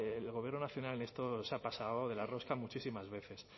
el gobierno nacional en esto se ha pasado de la rosca muchísimas veces